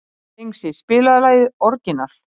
Dengsi, spilaðu lagið „Orginal“.